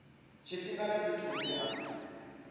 tshifhinga na fhethu hune ha